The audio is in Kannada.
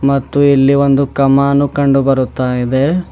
ಮತ್ತು ಇಲ್ಲಿ ಒಂದು ಕಮಾನು ಕಂಡು ಬರುತ್ತಾ ಇದೆ.